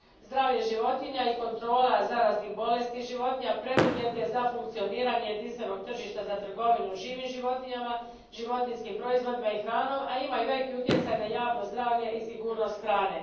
Zdravlje životinja i kontrola zaraznih bolesti životinja preduvjet je za funkcioniranje jedinstvenog tržišta za trgovinu živim životinjama, životinjskim proizvodima i hranom, a ima i veliki utjecaj na javno zdravlje i sigurnost hrane.